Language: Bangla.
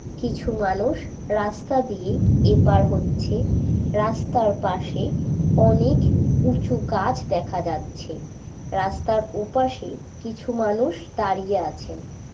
কিছু মানুষ রাস্তা দিয়ে এপার হচ্ছে রাস্তার পাশে অনেক উঁচু গাছ দেখা যাচ্ছে। রাস্তার ওপাশে কিছু মানুষ দাঁড়িয়ে আছেন।